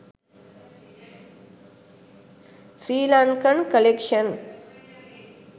srilankan collection